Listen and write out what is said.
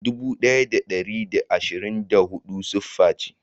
Dubu daya da dari da ashirin da hudu siffa ce.